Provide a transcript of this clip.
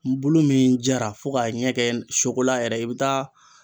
Bulu min jara fo k'a ɲɛ kɛ yɛrɛ ye i bɛ taa